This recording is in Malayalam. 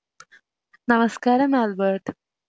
നമസ്‌കാരം ആൽബർട്ട്